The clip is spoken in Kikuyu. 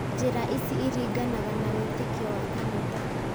Njĩra ici iringanaga na wĩtĩkio wa kanitha